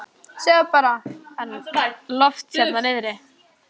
Sjáðu bara hann Loft hérna niðri.